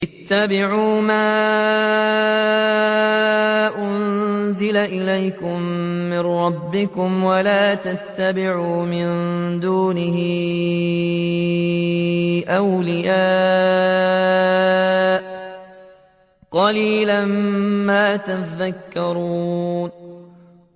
اتَّبِعُوا مَا أُنزِلَ إِلَيْكُم مِّن رَّبِّكُمْ وَلَا تَتَّبِعُوا مِن دُونِهِ أَوْلِيَاءَ ۗ قَلِيلًا مَّا تَذَكَّرُونَ